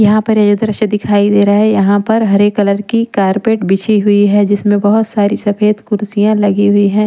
यहां पे ये दृश्य दिखाई दे रहा है यहां पर हरे कलर की कारपेट बिछी हुई है जिसमें बहोत सारी सफेद कुर्सियां लगी हुई हैं।